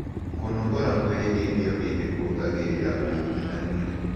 Kũnogora mwĩrĩ hĩndĩ o hĩndĩ kũongagĩrĩra ũĩgũĩthanĩa